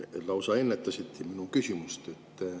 Te lausa ennetasite mu küsimust.